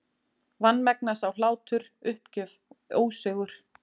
Vanmegna sá hlátur, uppgjöf, ósigur.